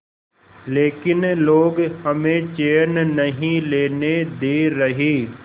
लेकिन लोग हमें चैन नहीं लेने दे रहे